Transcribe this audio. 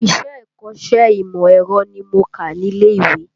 Ìṣe ikọ́sẹ́ ìmọ̀ ẹ̀rọ ni mo kà ní ilé ìwé